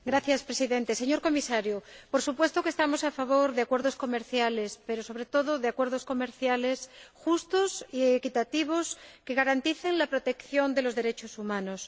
Señor Presidente, señor Comisario, por supuesto que estamos a favor de acuerdos comerciales, pero, sobre todo, de acuerdos comerciales justos y equitativos, que garanticen la protección de los derechos humanos.